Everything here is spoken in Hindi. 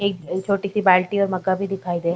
एक छोटी-सी बाल्टी में मग्गा भी दिखाई दे --